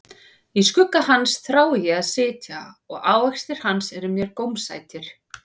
Í skugga hans þrái ég að sitja, og ávextir hans eru mér gómsætir.